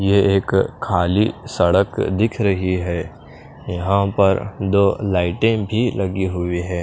ये एक खाली सड़क दिख रही है यहाँ पर दो लाइटे भी लगी हुई है।